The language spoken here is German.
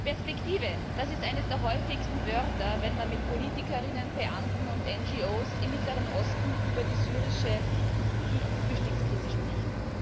Herr Präsident! Perspektive, das ist eines der häufigsten Wörter, wenn man mit PolitikerInnen, Beamten und NGOs im Mittleren Osten über die syrische Flüchtlingskrise spricht.